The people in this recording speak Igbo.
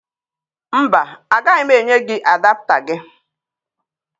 Mba, agaghị m enye gị adapụta gị